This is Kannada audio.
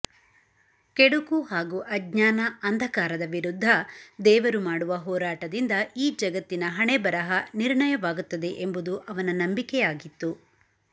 ಕೆಡುಕು ಹಾಗೂ ಅಜ್ಞಾನ ಅಂಧಕಾರದ ವಿರುದ್ಧ ದೇವರು ಮಾಡುವ ಹೋರಾಟದಿಂದ ಈ ಜಗತ್ತಿನ ಹಣೆಬರಹ ನಿರ್ಣಯವಾಗುತ್ತದೆ ಎಂಬುದು ಅವನ ನಂಬಿಕೆಯಾಗಿತ್ತು